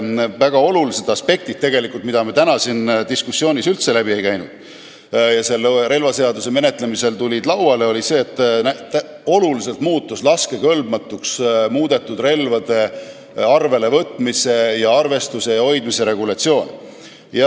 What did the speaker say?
Väga oluline aspekt, mis täna siit diskussioonist üldse läbi ei käinud, aga mis selle relvaseaduse eelnõu menetlemisel tuli kõne alla, oli see, et oluliselt muutus laskekõlbmatuks muudetud relvade arvelevõtmise, arvestuse ja hoidmise regulatsioon.